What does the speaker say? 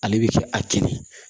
Ale bɛ kɛ a kɛ de